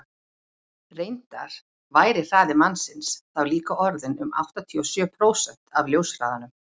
reyndar væri hraði mannsins þá líka orðinn um áttatíu og sjö prósent af ljóshraðanum